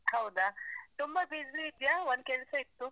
ಹೌದ. ತುಂಬ busy ಇದ್ಯಾ? ಒಂದ್ ಕೆಲ್ಸ ಇತ್ತು.